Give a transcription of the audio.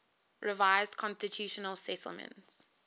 revised constitutional settlement